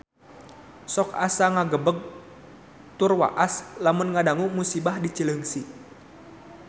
Sok asa ngagebeg tur waas lamun ngadangu musibah di Cileungsi